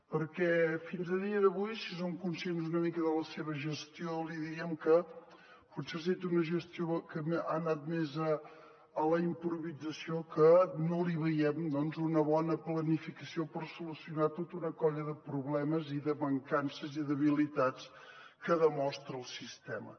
perquè fins a dia d’avui si som conscients una mica de la seva gestió li diríem que potser ha set una gestió que ha anat més a la improvisació que no li veiem una bona planificació per solucionar tota una colla de problemes i de mancances i debilitats que demostra el sistema